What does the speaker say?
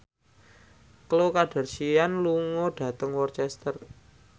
Khloe Kardashian lunga dhateng Worcester